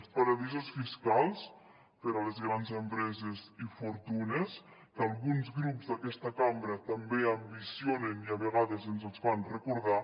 els paradisos fiscals per a les grans empreses i fortunes que alguns grups d’aquesta cambra també ambicionen i a vegades ens els fan recordar